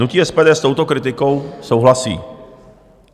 Hnutí SPD s touto kritikou souhlasí.